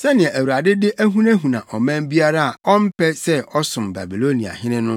sɛnea Awurade de ahunahuna ɔman biara a ɔmpɛ sɛ ɔsom Babiloniahene no?